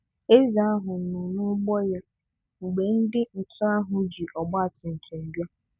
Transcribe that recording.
Eze ahụ nọ núgbó ya mgbe ndị ntọ ahụ jị ọgbatumtum bịa.